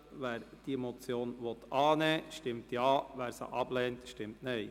Wer diese Motion annehmen will, stimmt Ja, wer diese ablehnt, stimmt Nein.